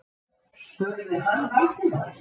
spurði hann Valdimar.